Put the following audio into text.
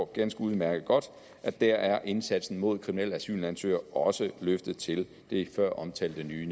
ganske udmærket godt at der er indsatsen mod kriminelle asylansøgere også løftet til det før omtalte nye